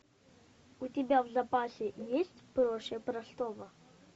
у тебя в запасе есть проще простого